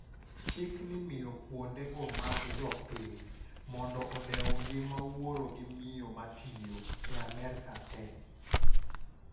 Chik ni miyo kuonde go mag jo piny, "Mondo odew ngima wuoro gi miyo matiyo," e Amerka tee.